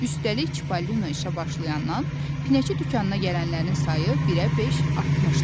Üstəlik Çipəlinon işə başlayandan pinəçi dükanına gələnlərin sayı birə beş artmışdı.